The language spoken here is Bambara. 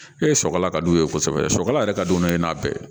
E sɔkɔla ka d'u ye kosɛbɛ sɔkala yɛrɛ ka don n'o ye n'a bɛɛ ye